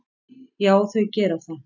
Já, þau gera það.